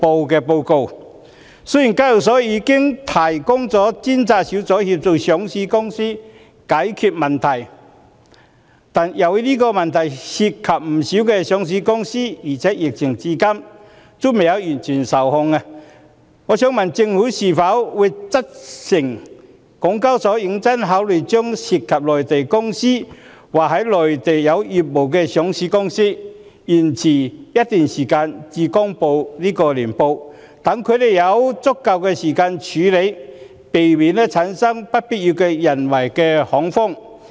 雖然香港交易所有專責小組協助上市公司解決問題，但由於這問題涉及不少上市公司，而且疫情至今仍未完全受控，我想問政府會否責成港交所認真考慮，讓涉及內地公司或在內地有業務的上市公司延遲一段時間公布年報，讓有關公司有足夠時間處理，避免產生不必要的人為恐慌？